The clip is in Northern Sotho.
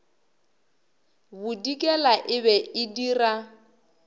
bodikela e be e dira